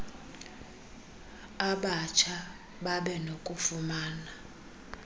abatsha babe nokufumana